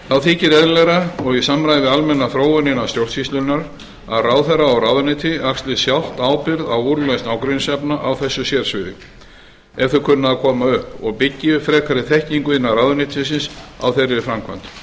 þá þykir eðlilegra og í samræmi við almenna þróun innan stjórnsýslunnar að ráðherra og ráðuneyti axli sjálft ábyrgð á úrlausn ágreiningsefna á þessu sérsviði ef þau kunna að koma upp og byggi upp frekari þekkingu innan ráðuneytisins á þeirri framkvæmd